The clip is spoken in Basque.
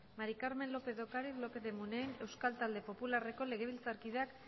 maría del carmen lópez de ocariz lópez de munain euskal talde popularreko legebiltzarkideak